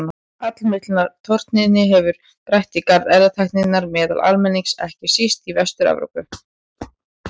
Allmikillar tortryggni hefur gætt í garð erfðatækninnar meðal almennings, ekki síst í Vestur-Evrópu.